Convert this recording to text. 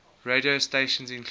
radio stations include